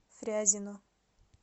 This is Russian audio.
фрязино